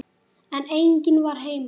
En enginn var heima.